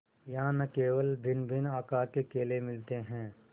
यहाँ न केवल भिन्नभिन्न आकार के केले मिलते हैं